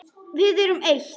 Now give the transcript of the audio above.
Við erum eitt.